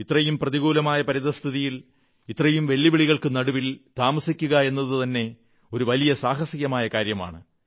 ഇത്രയ്ക്കും പ്രതികൂലമായ പരിതഃസ്ഥിതിയിൽ ഇത്രയും വെല്ലുവിളികൾക്കു നടുവിൽ താമസിക്കുകയെന്നതുതന്നെ ഒരു വലിയ സാഹസികമായ കാര്യമാണ്